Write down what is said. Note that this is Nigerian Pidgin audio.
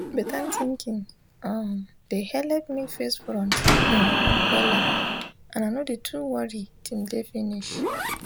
beta tinkin um de helep me face front hmmn wella and i nor de too worry till day finish